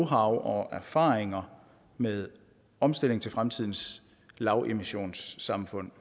og erfaringer med omstilling til fremtidens lavemissionssamfund